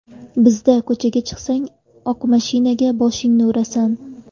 Bizda ko‘chaga chiqsang, oq mashinaga boshingni urasan.